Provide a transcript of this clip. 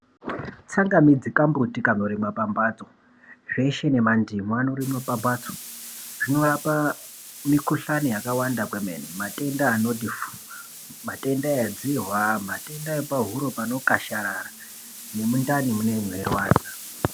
Tsangamidzi kumbuti kanorimwa pambatso zveshe nemandimu anorimwa pambatso. Zvinorapa mikuhlani yakawanda kwemene. Matenda anoti fuu, matenda edzihwa nepahuro panokasharara nemundani munee meirwadza.